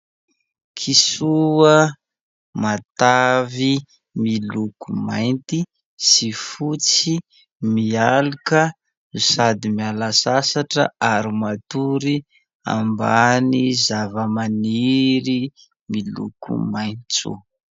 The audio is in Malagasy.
Kisoa matavy miloko mainty sy fotsy mialoka no sady miala sasatra ary matory ambany zavamaniry miloko maitso.